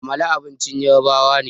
Amala abincin yarabawa ne